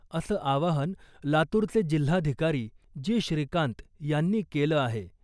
असं आवाहन लातूरचे जिल्हाधिकारी जी . श्रीकांत यांनी केलं आहे .